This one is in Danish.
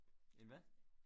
En hvad?